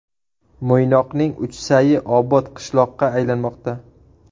Mo‘ynoqning Uchsayi obod qishloqqa aylanmoqda.